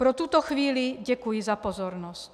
Pro tuto chvíli děkuji za pozornost.